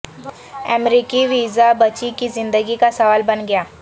امریکی ویزا بچی کی زندگی کا سوال بن گیا